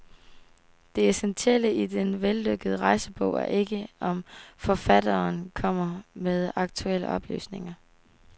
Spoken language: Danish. Det essentielle i den vellykkede rejsebog er ikke om forfatteren kommer med aktuelle oplysninger.